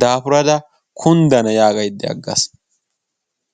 daafurada kunddna yaagaydda agaas.